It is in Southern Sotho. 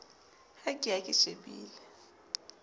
ha ke ya ke shebile